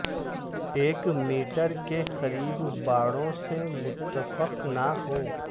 ایک میٹر کے قریب باڑوں سے متفق نہ ہوں